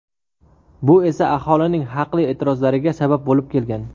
Bu esa aholining haqli e’tirozlariga sabab bo‘lib kelgan.